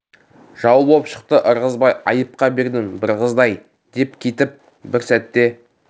жау боп шықты ырғызбай айыпқа бердің бір қызды-ай деп бір кетіп және бір сәтте